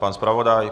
Pan zpravodaj?